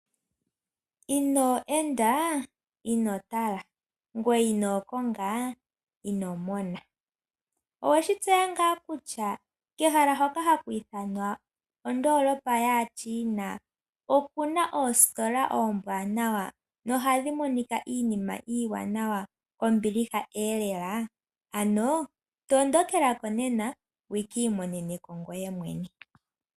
Ino eda ino tala, ngweye ino konga ino mona. Oweshi tseya ngaa kutya kehala hoka haku ithanwa ondoolopa yaaChina okuna oostola oombwanawa na ohadhi monika iinima iiwanawa kombiliha elela! Ano tondokela ko nena wukiimonene ko ngweye mwene.